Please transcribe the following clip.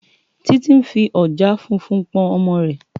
Titi n fí òjàá fúnfún pòn òmò rè